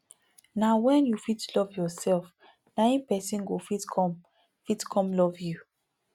na wen you fit love yourself na em pesin go fit come fit come love you